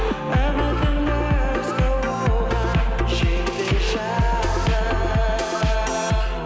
үмітіңді үзбе оған жетпей жатып